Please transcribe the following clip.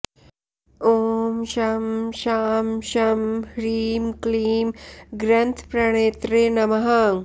ॐ शं शां षं ह्रीं क्लीं ग्रन्थप्रणेत्रे नमः